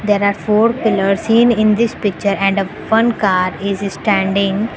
there are four pillars seen in this picture and one car is standing.